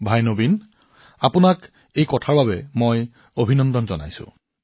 ভাতৃ নবীন আপোনাৰ চিন্তাধাৰাৰ বাবে মই আপোনাক অভিনন্দন জনাইছো